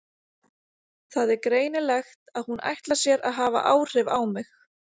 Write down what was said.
Það er greinilegt að hún ætlar sér að hafa áhrif á mig.